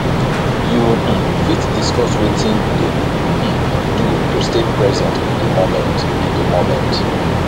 you um fit discuss wetin you dey um do to stay present in di moment in di moment